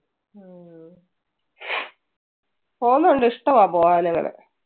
പോകുന്നുണ്ട് ഇഷ്ടമാ പോകാൻ അങ്ങനെ.